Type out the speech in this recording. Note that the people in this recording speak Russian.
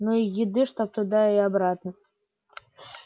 ну и еды чтоб туда и обратно